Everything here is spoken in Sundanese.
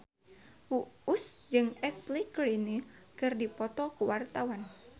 Uus jeung Ashley Greene keur dipoto ku wartawan